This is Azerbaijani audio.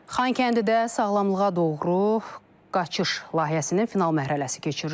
Xankəndidə sağlamlığa doğru qaçış layihəsinin final mərhələsi keçirilib.